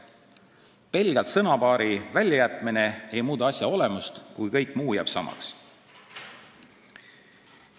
Pelgalt mõne sõna väljajätmine ei muuda asja olemust, kui kõik muu jääb samaks.